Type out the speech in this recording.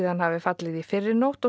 hafi fallið í fyrrinótt og